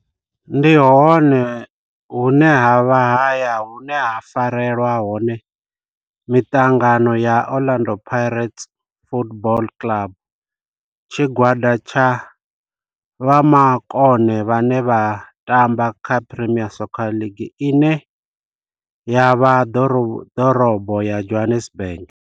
Ndi hone hune havha haya hune ha farelwa hone miṱangano ya Orlando Pirates Football Club. Tshigwada tsha vhomakone vhane vha tamba kha Premier Soccer League ine ya vha ḓorobo ya Johannesburg.